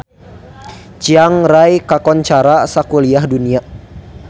Chiang Rai kakoncara sakuliah dunya